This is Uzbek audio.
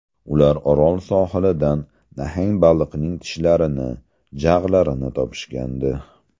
Ular Orol sohilidan nahang baliqning tishlarini, jag‘larini topishgandi.